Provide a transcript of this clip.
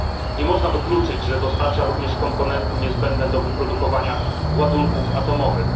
Nie można wykluczyć, że dostarcza również komponenty niezbędne do wyprodukowania ładunków atomowych.